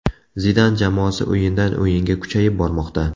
Zidan jamoasi o‘yindan o‘yinga kuchayib bormoqda.